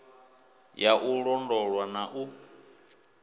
ya u londolwa na u